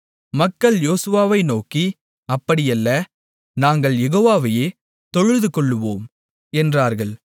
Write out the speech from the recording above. மக்கள் யோசுவாவை நோக்கி அப்படியல்ல நாங்கள் யெகோவாவையே தொழுதுகொள்ளுவோம் என்றார்கள்